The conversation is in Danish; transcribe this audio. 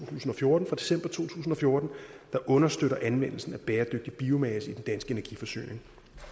tusind og fjorten der understøtter anvendelsen af bæredygtig biomasse i den danske energiforsyning